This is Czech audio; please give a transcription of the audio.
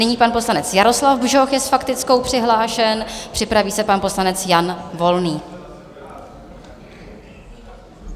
Nyní pan poslanec Jaroslav Bžoch je s faktickou přihlášen, připraví se pan poslanec Jan Volný.